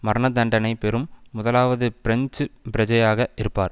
மரணதண்டனை பெறும் முதலாவது பிரெஞ்சு பிரஜையாக இருப்பார்